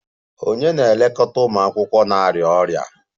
Ònye na-elekọta ụmụ akwụkwọ na-arịa ọrịa?